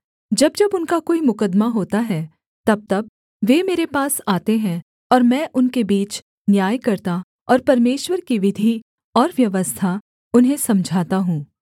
जब जब उनका कोई मुकद्दमा होता है तबतब वे मेरे पास आते हैं और मैं उनके बीच न्याय करता और परमेश्वर की विधि और व्यवस्था उन्हें समझाता हूँ